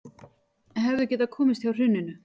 Hefðu getað komist hjá hruninu